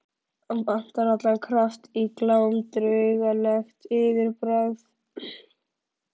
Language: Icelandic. Vantar allan kraft í Glám og draugalegt yfirbragð.